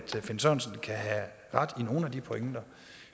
finn sørensen kan have ret i nogle af de pointer